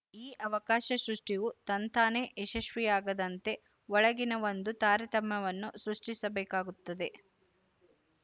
ಈ ಅವಕಾಶ ಸೃಷ್ಟಿಯು ತಂತಾನೇ ಯಶಸ್ವಿಯಾಗದಂತೆ ಒಳಗಿನ ಒಂದು ತಾರತಮ್ಯವನ್ನು ಸೃಷ್ಟಿಸಬೇಕಾಗುತ್ತದೆ